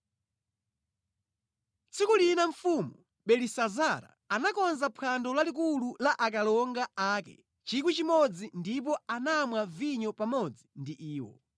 Tsiku lina mfumu Belisazara anakonza phwando lalikulu la akalonga ake 1,000 ndipo anamwa vinyo pamodzi ndi iwo.